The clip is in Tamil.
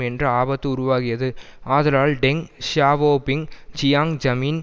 என்ற ஆபத்து உருவாகியது ஆதலால் டெங் ஷியாவோபிங் ஜியாங் ஜமீன்